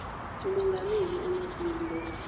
umongameli unelson mandela